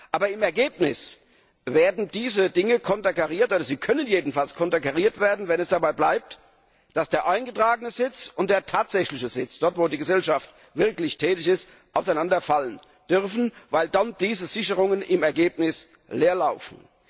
Aber im Ergebnis werden diese Dinge konterkariert, sie können jedenfalls konterkariert werden, wenn es dabei bleibt, dass der eingetragene Sitz und der tatsächliche Sitz, d. h. dort, wo die Gesellschaft tatsächlich tätig ist, voneinander abweichen dürfen, weil dann diese Sicherungen im Ergebnis ins Leere laufen.